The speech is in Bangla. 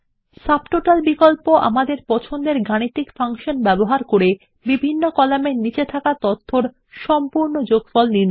সব টোটাল বিকল্প আমাদের পছন্দের গাণিতিক ফাংশন ব্যবহার করে বিভিন্ন শিরোনামের নিচে তথ্যগুলির যোগফল দেয়